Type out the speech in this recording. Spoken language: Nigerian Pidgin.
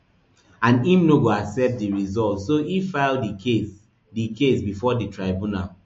and im no go accept di results so e file di case di case bifor di tribunal